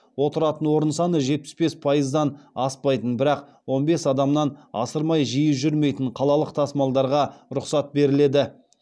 отыратын орын саны жетпіс бес пайыздан аспайтын бірақ он бес адамнан асырмай жиі жүрмейтін қалалық тасымалдарға рұқсат беріледі